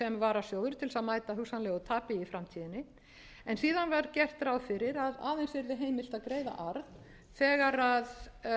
til að mæta hugsanlegu tapi í framtíðinni en síðan var gert ráð fyrir að aðeins yrði heimilt að greiða